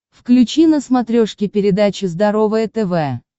включи на смотрешке передачу здоровое тв